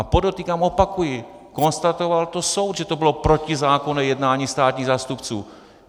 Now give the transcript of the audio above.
A podotýkám, opakuji, konstatoval to soud, že to bylo protizákonné jednání státních zástupců.